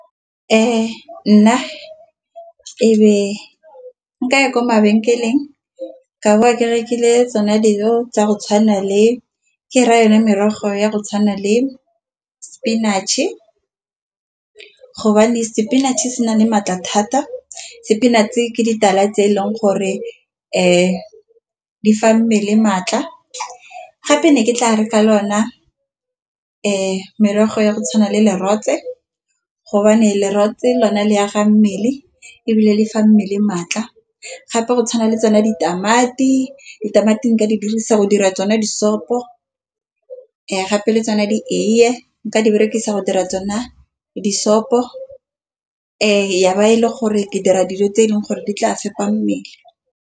Ee, nna ebe nkaya ko mabenkeleng ka boa ke rekile tsona dilo tsa go tshwana le ke ra yone merogo ya go tshwana le spinach-e. Spinach-e se na le maatla thata spinach ke ditala tse e leng gore di fa mmele maatla, gape ne ke tla re ka lona merogo ya go tshwana le lerole gobane lerotle ke lone le a ga mmele ebile le fa mmele maatla. Gape go tshwana le tsona ditamati. Ditamati ka di dirisa go ira tsone disopho ya gape le tsone di eiye nka di berekisa go dira tsona disopho e ya ba e le gore ke dira dilo tse e leng gore di tla fepa mmele.